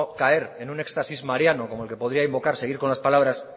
caer en un éxtasis mariano como el que podría invocar seguir con las palabras